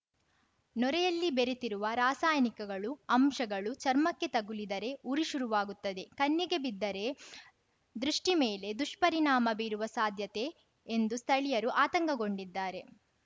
ನೊರೆಯಲ್ಲಿ ಬೆರೆತಿರುವ ರಾಸಾಯನಿಕಗಳು ಅಂಶಗಳು ಚರ್ಮಕ್ಕೆ ತಗುಲಿದರೆ ಉರಿ ಶುರುವಾಗುತ್ತದೆ ಕಣ್ಣಿಗೆ ಬಿದ್ದರೆ ದೃಷ್ಟಿಮೇಲೆ ದುಷ್ಪರಿಣಾಮ ಬೀರುವ ಸಾಧ್ಯತೆ ಎಂದು ಸ್ಥಳೀಯರು ಆತಂಕಗೊಂಡಿದ್ದಾರೆ